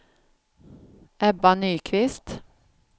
Ebba Nyqvist